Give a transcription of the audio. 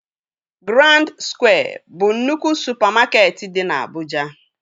Grand skwịe bụ nnukwu supamakeetị dị na Abụja